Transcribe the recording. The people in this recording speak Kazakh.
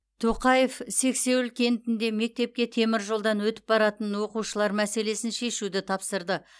тоқаев сексеуіл кентінде мектепке теміржолдан өтіп баратын оқушылар мәселесін шешуді тапсырды